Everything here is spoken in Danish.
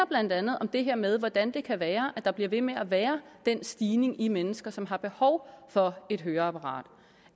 blandt andet om det her med hvordan det kan være at der bliver ved med at være den stigning i mennesker som har behov for et høreapparat